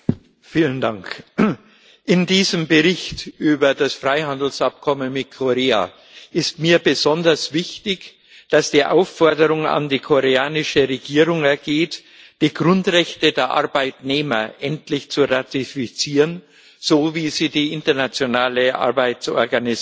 Herr Präsident! In diesem Bericht über das Freihandelsabkommen mit Korea ist mir besonders wichtig, dass die Aufforderung an die koreanische Regierung ergeht, die Grundrechte der Arbeitnehmer endlich zu ratifizieren, so wie sie die Internationale Arbeitsorganisation